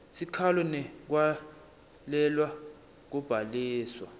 sikhalo ngekwalelwa kubhaliswa